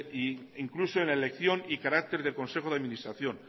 e incluso en la elección y carácter del consejo de administración